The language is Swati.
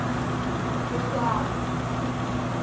kutali